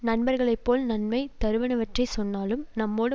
நண்பர்களை போல் நன்மை தருவனவற்றைச் சொன்னாலும் நம்மோடு